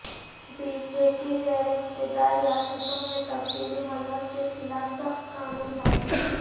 be J P زیر اقتدار ریاستوں میں تبدیلی مذہب کے خلاف سخت قانون سازی